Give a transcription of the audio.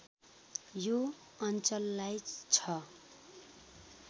यो अञ्चललाई ६